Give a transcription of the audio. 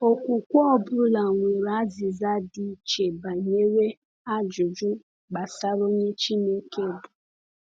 Okwukwe ọ bụla nwere azịza dị iche banyere ajụjụ gbasara onye Chineke bụ.